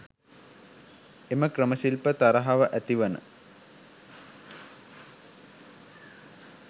එම ක්‍රම ශිල්ප තරහව ඇති වන